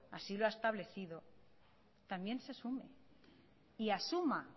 así lo ha establecido también se sume y asuma